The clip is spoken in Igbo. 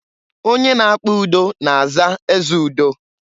Onye na-akpa udo na-aza ezeudo.